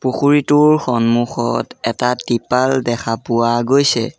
পুখুৰীটোৰ সন্মুখত এটা টিপাল দেখা পোৱা গৈছে।